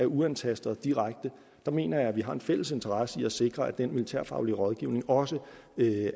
uantastet og direkte der mener jeg at vi har en fælles interesse i at sikre at den militærfaglig rådgivning også